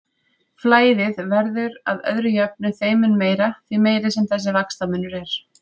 Flæðið verður að öðru jöfnu þeim mun meira, því meiri sem þessi vaxtamunur er.